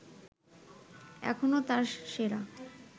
এখনো তার সেরা